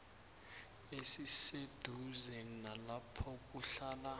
esiseduze nalapho kuhlala